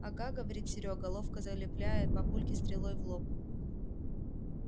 ага говорит серёга ловко залепляя папульке стрелой в лоб